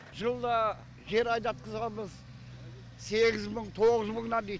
жылда жер айдатқызамыз сегіз мың тоғыз мыңнан дит